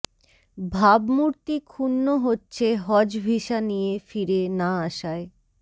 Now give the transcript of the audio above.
ভাবমূর্তি ক্ষুণ্ণ হচ্ছে হজ ভিসা নিয়ে ফিরে না আশায়